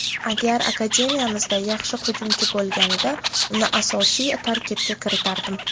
Agar akademiyamizda yaxshi hujumchi bo‘lganida uni asosiy tarkibga kiritardim.